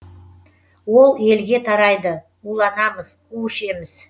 ол елге тарайды уланамыз у ішеміз